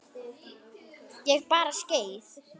Ég bara skreið